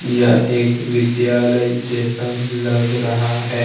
यह एक विद्यालय जैसा लग रहा है।